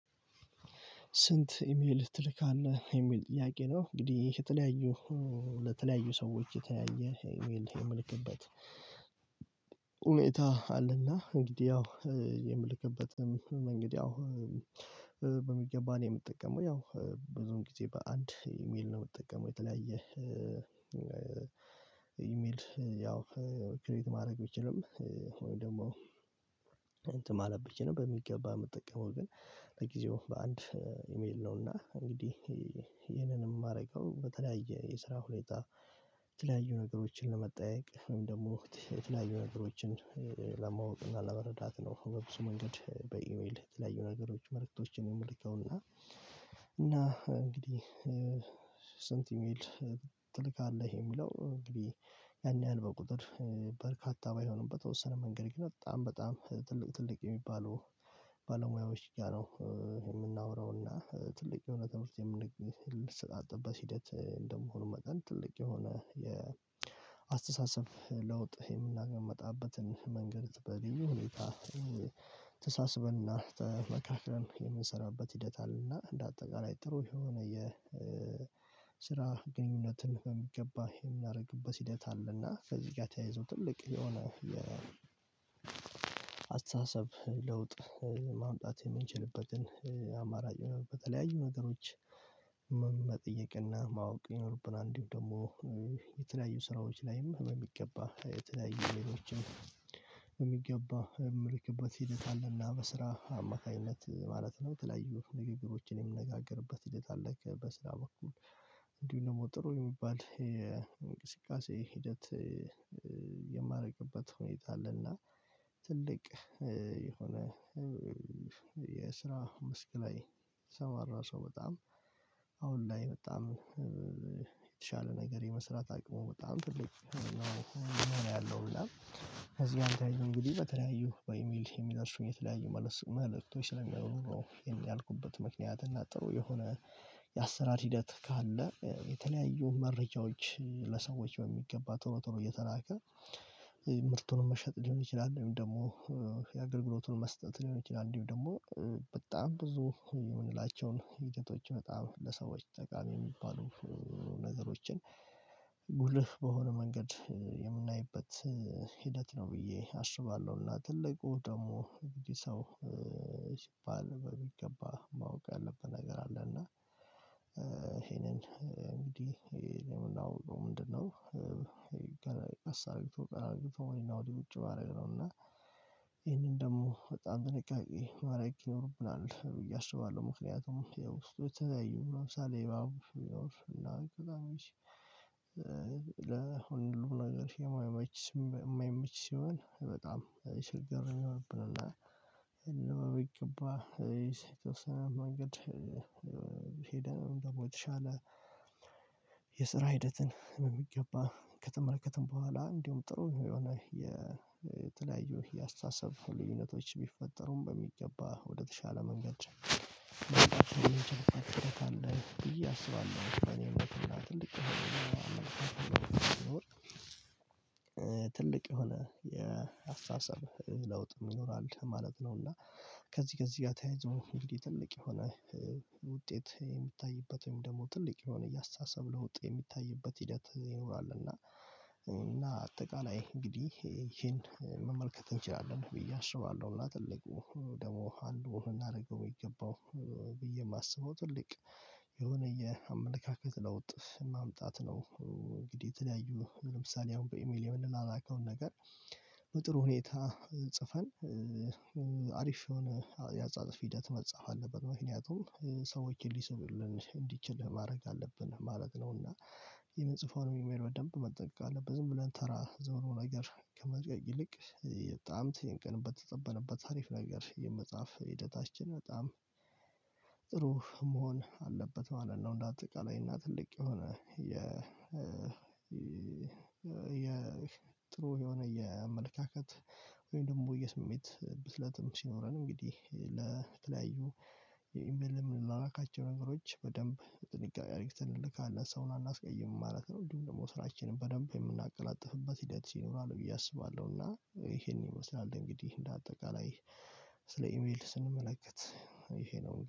ስንት ኢሜል ትልካለህ የሚል ጥያቄ ነው? እንግዲህ የተለያዩ ለተለያዩ ሰዎች የተያየ ኢሜል የምልክበት። ሁኔታ አለና እንግዲህ ያው የምልክበት እንግዲህ ያው በሚገባ ነው የምጠቀመው ያው ብዙም ጊዜ በአንድ ኢሜል ነው የምጠቀመው። የተለያየ ኢሜል ያው ክሬት ማድረግ ቢችልም ወይም ደግሞ እንትን ማለት ቢችልም በሚገባ የምትጠቀመው ግን ለጊዜው በአንድ ኢሜል ነውና እንግዲህ ይሄንን የማደርገው በተለያየ የስራ ሁኔታ። የተለያዩ ነገሮችን ለመጠያየቅ ምን ደግሞ የተለያዩ ነገሮችን ለማወቅ እና ለመረዳት ነው። በብዙ መንገድ በኢሜል የተለያዩ ነገሮች መልእክቶችን የምልከው እና እና እንግዲህ። ስንት ኢሚል ትልክ አለህ የሚለው እንግዲህ ያን ያህል በቁጥር በርካታ ባይሆንም በተወሰነ መንገድ ግን በጣም በጣም ትልቅ ትልቅ የሚባለው ባለሙያዎች ጋር ነው። የምናወራውና ትልቅ የሆነ ትምህርት የምንቅ ሰጣጥ አጥበት ሂደት እንደመሆኑ መጠን ትልቅ የሆነ የአስተሳሰብ ለውጥ የምናገመጣበትን መንገድ በልዩ ሁኔታ። ተሳስበና ተመካክረን የምንሰራበት ሂደት አለና እንደ አጠቃላይ ጥሩ የሆነ የስራ ግንኙነትን በሚገባ የምና ያደርግበት ሂደት አለና ከዚህ ጋር ተያይዞ ትልቅ የሆነ አስተሳሰብ ለውጥ ማምጣት የምንችልበትን አማራጭ በተለያዩ ነገሮች። መጠየቅና ማወቅ የሚኖርብን አንዲሁም ደግሞ የተለያዩ ስራዎች ላይም የሚገባ የተለያዩ ሌሎችም የሚገባ የምልክበት ሂደት አለና በስራ አማካኝነት ማለት ነው። የተለያዩ ንግግሮችን የምነጋገርበት ሂደት አለና በስራ በኩል እንዲሁ ደግሞ ጥሩ የሚባል የእንቅስቃሴ ሂደት የማደርግበት ሁኔታ አለና። ትልቅ የሆነ የስራ መስክ ላይ የተሰማራ ሰው በጣም አሁን ላይ በጣም የተሻለ ነገር የመስራት አቅሙ በጣም ትልቅ ነው። ያለው እና ከዚህ ጋር ተያይዞ እንግዲህ በተለያዩ በኢሚል ኢሚል አርሱኝ የተለያዩ ስለሚያወሩ ነው ያልኩበት ምክንያት እናጥሮ የሆነ የአሰራር ሂደት ካለ የተለያዩ መረጃዎች። በሚገባ ቶሎ ቶሎ እየተላከ ምርቱንም መሸጥ ሊሆን ይችላል። ወይም ደግሞ የአገልግሎቱን መስጠት ሊሆን ይችላል። ወይም ደግሞ በጣም ብዙ የምንላቸውን ሂደቶች በጣም ለሰዎች ተጠቃሚ የሚባሉ ነገሮችን ጉልህ በሆነ መንገድ የምናይበት ሂደት ነው። ብዬ አስባለሁና ትልቁ ደግሞ እንግዲህ ሰው ሲባል በሚገባ ማወቅ ያለበት ነገር አለ። እና ይሄንን እንግዲህ ምንድነው ምንድነው? ገና አሳግቶ ቀራጊፎ ወይና ወዲህ ውጪ ባደረገው ነው። እና ይሄንን ደግሞ በጣም ጥንቃቄ ማረግ ይኖርብናል ብዬ አስባለሁ። ምክንያቱም የውስጡ የተለያዩ ለምሳሌ የባሱ የውስጡ እና ከዛ ነው ይቺ ለሁሉም ነገር የማይመች የማይመች ሲሆን በጣም ችግር ይሆንብናል። እንደው በሚገባ የት ወሰነ መንገድ? ደግሞ የተሻለ የስራ ሂደትን በሚገባ ከተመለከትን በኋላ እንዲሁም ጥሩ የሆነ የተለያዩ የአስተሳሰብ ልዩነቶች ቢፈጠሩም በሚገባ ወደተሻለ መንገድ። ትልቅ አለ ብዬ እስካሁን በኔምነትና ትልቅ ትልቅ የሆነ የአስተሳሰብ ለውጥ ይኖራል ማለት ነው። እና ከዚህ ከዚህ ጋር ተያይዞ እንዲህ ትልቅ የሆነ ውጤት የሚታይበት ወይም ደግሞ ትልቅ የሆነ እያሳሰብን ለውጥ የሚታይበት ሂደት ይኖራል። እና እና አጠቃላይ እንግዲህ ይሄን መመልከት እንችላለን ብዬ አስባለሁ። እና ትልቁ ደግሞ እናደርገው የሚገባው ብዬ የማስበው ትልቅ የሆነ የአመለካከት ለውጥ ማምጣት ነው። እንግዲህ የተለያዩ ለምሳሌ አሁን በኢሜል የምንላላከውን ነገር ጥሩ ሁኔታ ጽፈን አሪፍ የሆነ ያጻጻፍ ሂደት መጻፍ አለበት ምክንያቱም ሰዎችን ሊስብልን እንዲችል ማድረግ አለብን ማለት ነውና። የምንጽፎን ኢሜል በደንብ መጠንቀቅ አለበት ዝም ብለን ተራ ዝምብሎ ነገር ከመልቀቅ ይልቅ የበጣም ተጨንቀንበት በተጠበንበት አሪፍ ነገር የመጻፍ ሂደታችን በጣም ጥሩ መሆን አለበት ማለት ነው። እንደ አጠቃላይ እና ትልቅ የሆነ የ የጥሩ የሆነ የአመለካከት ወይም ደግሞ የስሜት ብስለትም ሲኖረን እንግዲህ ለተለያዩ የኢሜል ምን ላላካቸው ነገሮች በደንብ በጥንቃቄ አርግተን እንልካለን ሰውን አናስቀይምም ማለት ነው። እንዲሁም ደግሞ ስራችንን በደንብ የምናቀላጥፍበት ሂደት ይኖራል ብዬ አስባለሁ። እና ይሄን ይመስላል እንግዲህ እንደ አጠቃላይ ስለ ኢሜል ስንመለከት ይሄ ነው